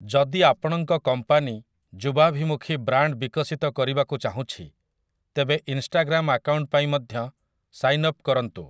ଯଦି ଆପଣଙ୍କ କମ୍ପାନୀ ଯୁବାଭିମୁଖୀ ବ୍ରାଣ୍ଡ୍‌‌ ବିକଶିତ କରିବାକୁ ଚାହୁଁଛି, ତେବେ ଇନ୍‌ଷ୍ଟାଗ୍ରାମ୍ ଆକାଉଣ୍ଟ ପାଇଁ ମଧ୍ୟ ସାଇନ୍ଅପ୍ କରନ୍ତୁ ।